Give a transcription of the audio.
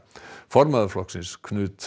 formaður flokksins